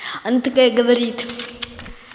она такая говорит